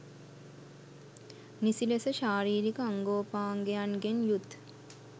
නිසි ලෙස ශාරීරික අංගෝපාංගයන්ගෙන් යුත්